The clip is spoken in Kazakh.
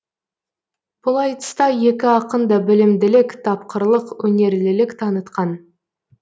бұл айтыста екі ақын да білімділік тапқырлық өнерлілік танытқан